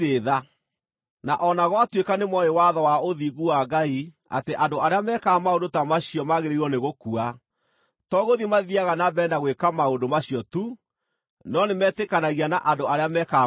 Na o na gwatuĩka nĩmooĩ watho wa ũthingu wa Ngai atĩ andũ arĩa mekaga maũndũ ta macio maagĩrĩirwo nĩ gũkua, to gũthiĩ mathiiaga na mbere na gwĩka maũndũ macio tu, no nĩmetĩkanagia na andũ arĩa mekaga maũndũ macio.